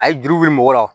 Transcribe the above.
A ye juru wuli mɔgɔ la